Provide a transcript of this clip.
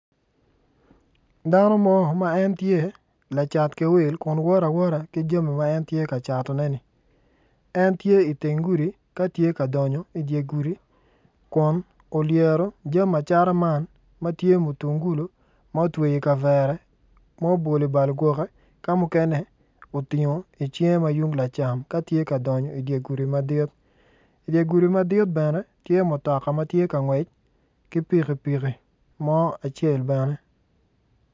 Dano mo ma en tye lacat ki wil kun woto awota ki jami ma en tye ka catoneni en tye iteng gudi ka tye ka donyo idye gudi kun olyero jami acata man ma tye mutungulo ma otweyo ikavere ma obolo i bal gwoke ka mukene otingo icinge ma tung lacam ka tye ka donyo idye gudi madi idye gudi madit bene tye mutoka matye ka ngwec ki pikipiki mo acel bene.